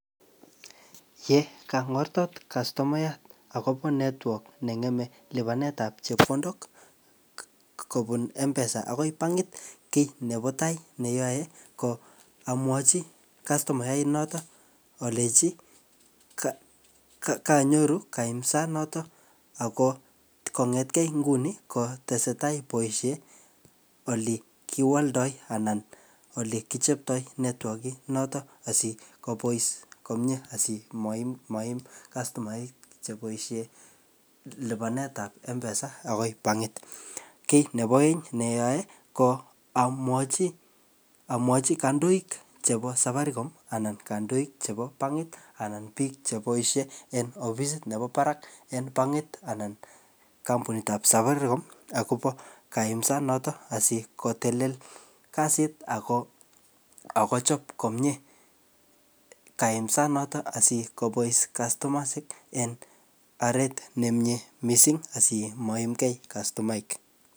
Yekangortot kastomayat akobo network ne ng'eme lipanet ap chepkondok kobun mpesa akoi pangit, kiy nebo tai ne ayae ko amwochi kastomait notok alechi ka-ka-kanyoru kaimsat noton ako kengetkei nguni kotesetai boisiet ole kiwaldoi anan ole kichoptoi network-it notok asikobois komyee, asimaim maim kastoamek cheboisei lipanet ap mpesa akoi pangit. Kiy nebo aeng ne ayae, ko amwochi, amwochi kandoik chebo safaricom anan kandoik chebo pangit anan biik che boisie en ofisit nebo barak en pangit anan kampunit ap safaricom akobo kaimsat notok asikotelel kasit ako akochop komyee kaimsat noton asikobois kastomaisiek en oret ne miee missing asimaimgei kastomaik